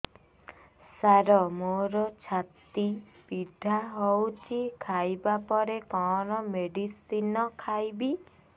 ସାର ମୋର ଛାତି ପୀଡା ହଉଚି ଖାଇବା ପରେ କଣ ମେଡିସିନ ଖାଇବି